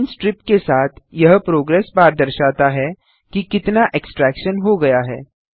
green strip के साथ यह प्रोग्रेस बार दर्शाता है कि कितना एक्सट्रैक्शन हो गया है